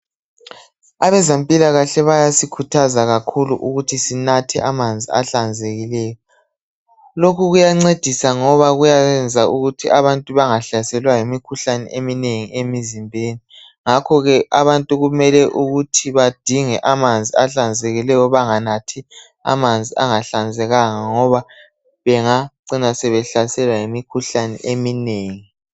Abezempilakahle bayasikhuthazwa kakhulu ukuthi sinathe amanzi ahlanzekileyo Lokhu kuyancedisa ngoba kuyayenza ukuthi abantu bangahlaselwa yimikhuhlane eminengi emizimbeni Ngakhoke abantu kumele ukuthi badinge amanzi ahlanzekileyo banganathi amanzi angahlanzekanga ngoba bengacina behlaselwa yimikhuhlane eminengi